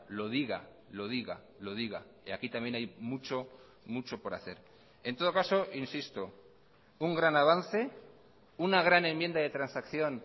lo diga lo diga lo diga y aquí también hay mucho mucho por hacer en todo caso insisto un gran avance una gran enmienda de transacción